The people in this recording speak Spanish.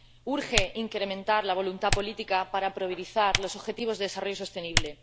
Urge incrementar la voluntad política, para priorizar los objetivos de desarrollo sostenible.